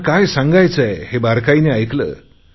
त्यांना काय सांगायचे आहे हे बारकाईने ऐकले